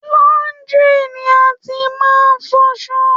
Laundry ni a ti ma n fọṣọ.